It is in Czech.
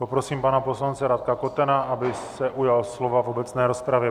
Poprosím pana poslance Radka Kotena, aby se ujal slova v obecné rozpravě.